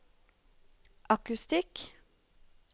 akustikk